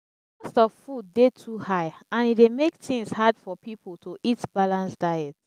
di cost of food dey too high and e dey make things hard for people to eat balanced diet.